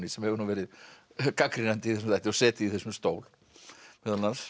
sem hefur nú verið gagnrýnandi í þessum þætti og setið í þessum stól meðal annars